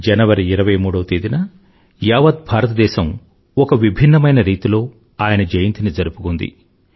జనవరి 23వ తేదీన యావత్ భారతదేశం ఒక విభిన్నమైన రీతిలో ఆయన జయంతిని జరుపుకుంది